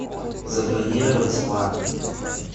забронировать спа